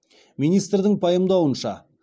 министрдің пайымдауынша